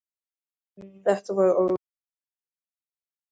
Þetta voru orð Ólafs en ekki mín.